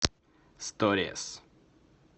сторис